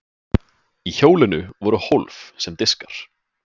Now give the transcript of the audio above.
í hjólinu voru hólf sem diskar